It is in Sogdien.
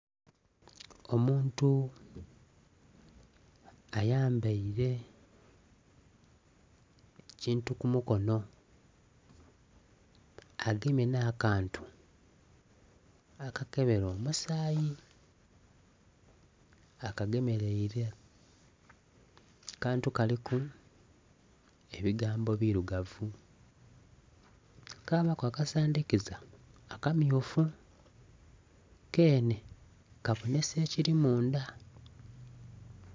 Omuntu ayambaire kintu kumukono agemye nakantu akakebera omusayi akagemereire akantu kaliku ebigambo birugavu kabaku akasandikiza akamyufu kenhe kabonesa ekiri munda